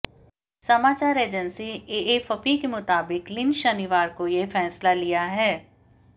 समाचार agency AFP के मुताबित लिन शनिवार को यह फैसला लिया है